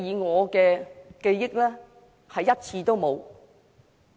我記憶中是1次也沒有。